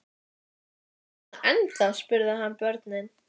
Þessi mynd er leikandi létt að yfirbragði.